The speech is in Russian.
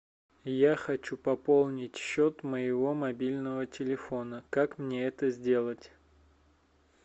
я хочу пополнить счет моего мобильного телефона как мне это сделать